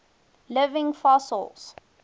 living fossils